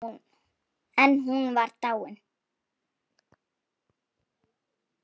En hún var dáin.